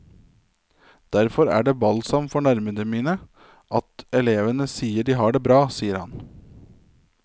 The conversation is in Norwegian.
Derfor er det balsam for nervene mine at elevene sier at de har det bra, sier han.